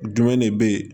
Jumɛn de bɛ yen